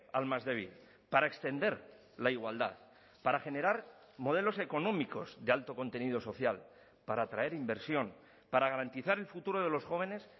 al más débil para extender la igualdad para generar modelos económicos de alto contenido social para atraer inversión para garantizar el futuro de los jóvenes